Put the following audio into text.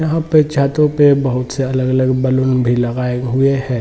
यहां पे छतों पे बहुत सारे अलग - अलग बलून भी लगाए हुए हैं।